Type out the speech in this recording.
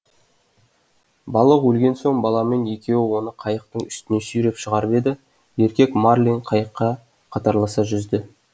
балық өлген соң баламен екеуі оны қайықтың үстіне сүйреп шығарып еді еркек марлин қайыққа қатарласа жүзді